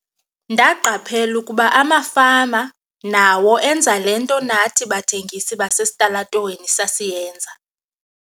"Ndaqaphela ukuba amafama nawo enza le nto nathi bathengisi basesitalatweni sasiyenza."